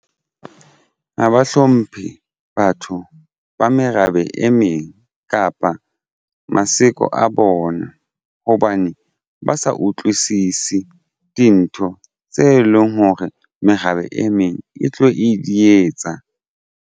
Ha ba hlomphe batho ba merabe e meng kapa maseko a bona hobane ba sa utlwisise dintho tse leng hore merabe e meng e tlo e dietsa.